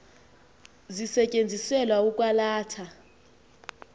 zisetyenziselwa ukwa latha